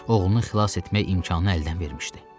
Oğlunu xilas etmək imkanı əldən vermişdi.